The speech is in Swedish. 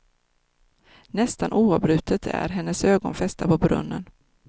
Nästan oavbrutet är hennes ögon fästa på brunnen.